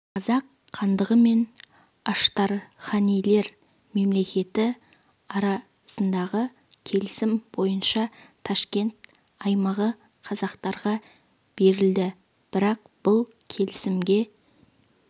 қазақ хандығы мен аштарханилер мемлекеті арасындағы келісім бойынша ташкент аймағы қазақтарға берілді бірақ бұл келісімге